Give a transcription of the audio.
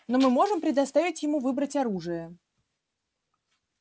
но мы можем предоставить ему выбрать оружие